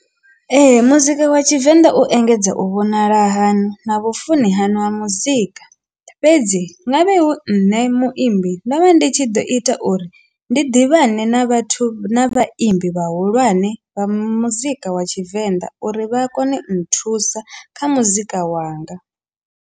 Ee, muzika wa tshivenḓa u engedza u vhonala haṋu na vhufuni hanu ha muzika fhedzi nga vhe hu nṋe muimbi ndo vha ndi tshi ḓo ita uri ndi ḓivhane na vhathu na vhaimbi vhahulwane vha muzika wa tshivenḓa uri vha kone u nthusa kha muzika wanga.